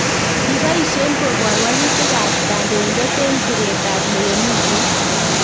Kiboisien kobar walutik ab kandoindet en piret ab lewenisiet